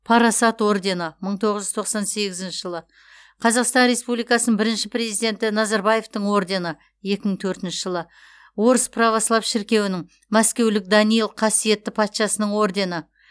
парасат ордені мың тоғыз жүз тоқсан сегізінші жылы қазақстан республикасыньң бірінші президенті назарбаевтың ордені екі мың төртінші жылы орыс православ шіркеуінің мәскеулік даниил қасиетті патшасының ордені